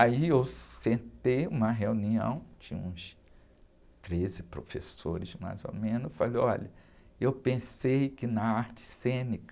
Aí, eu sentei uma reunião de uns treze professores, mais ou menos, e falei, olha, eu pensei que na arte cênica,